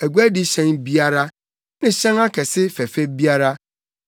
aguadi hyɛn biara ne hyɛn kɛse fɛfɛ biara.